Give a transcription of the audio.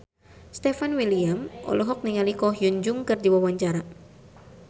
Stefan William olohok ningali Ko Hyun Jung keur diwawancara